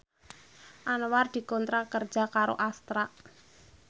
Anwar dikontrak kerja karo Astra